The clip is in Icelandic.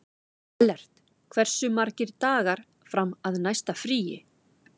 Ellert, hversu margir dagar fram að næsta fríi?